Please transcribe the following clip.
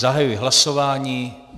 Zahajuji hlasování.